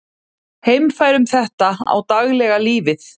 Heimfærum þetta á daglega lífið.